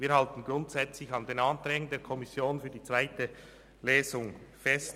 Wir halten grundsätzlich an den Anträgen der Kommission für die zweite Lesung fest.